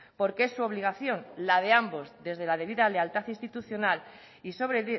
porque es su obligación la de ambos desde la debida lealtad institucional y sobre